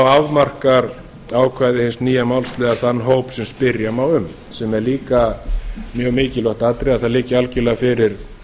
afmarkar ákvæði hins nýja málsliðar þann hóp sem spyrja má um sem er líka mjög mikilvægt atriði að það liggi algerlega fyrir